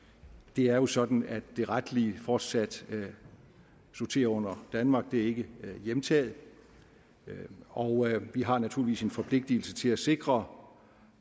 det er jo sådan at det retlige fortsat sorterer under danmark det er ikke hjemtaget og vi har naturligvis en forpligtelse til at sikre